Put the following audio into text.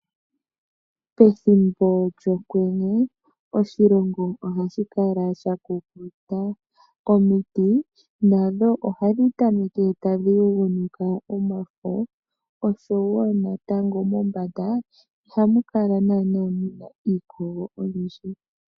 Pethimbo lyokwenye oshilongo ohashi kala shakukuta. Omiti ohadhi tameke tadhi yagumuka omafo oshowo natango mombanda ihamu kala iikogo oyindji.